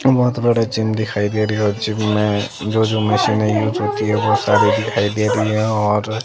बहुत बड़े चिन्ह दिखाई दे रही है और चिन्ह में जो-जो मशीनें यूज होती है वो सारी दिखाई दे रही हैं और--